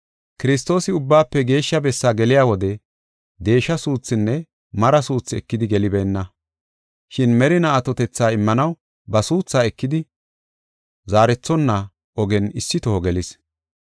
Kiristoosi Ubbaafe Geeshsha Bessaa geliya wode deesha suuthinne mari suuthi ekidi gelibeenna. Shin merinaa atotetha immanaw ba suuthaa ekidi zaarethonna ogen issi toho gelis.